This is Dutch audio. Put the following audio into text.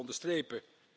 Dat wil ik onderstrepen.